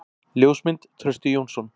Ljósmynd: Trausti Jónsson.